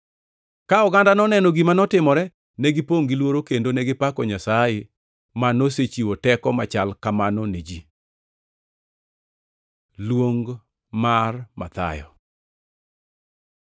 Ka oganda noneno gima notimore, negipongʼ gi luoro; kendo negipako Nyasaye, ma nosechiwo teko machal kamano ne ji. Luong mar Mathayo